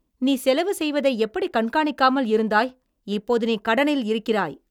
நீ செலவு செய்வதை எப்படி கண்காணிக்காமல் இருந்தாய்? இப்போது நீ கடனில் இருக்கிறாய்.